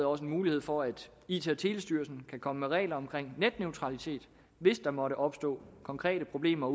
også en mulighed for at it og telestyrelsen kan komme med regler om netneutralitet hvis der måtte opstå konkrete problemer